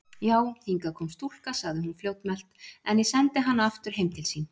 Já, hingað kom stúlka, sagði hún fljótmælt,-en ég sendi hana aftur heim til sín.